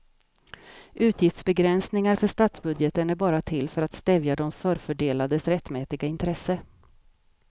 Utgiftsbegränsningar för statsbudgeten är bara till för att stävja de förfördelades rättmätiga intresse.